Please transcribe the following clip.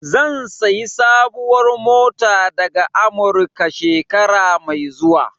Zan sayi sabuwar mota daga Amurika, shekara mai zuwa.